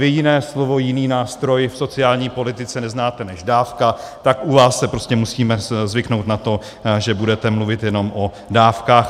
Vy jiné slovo, jiný nástroj v sociální politice neznáte než dávka, tak u vás si prostě musíme zvyknout na to, že budete mluvit jenom o dávkách.